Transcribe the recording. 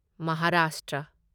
Maharashtra